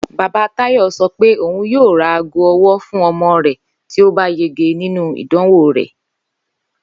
Bàbá Táyò̩ so̩ wí pé òun yóò ra aago o̩wó̩ fún o̩mo̩ rè̩ tí ó bá yege nínú ìdánwò rè̩